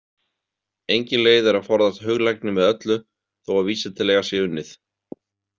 Engin leið er að forðast huglægni með öllu þó að vísindalega sé unnið.